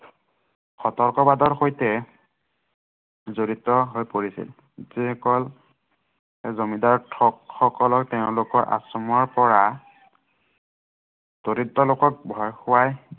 সঠ বাদৰ সৈতে জড়িত হৈ পৰিছিল। যি সকল জমিদাৰ ঠগসকলৰ তেওঁলোকৰ আশ্ৰমৰ পৰা দৰিদ্ৰ লোকক ভয় খোৱাই